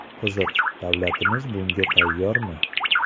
Qiziq, davlatimiz bunga tayyormi?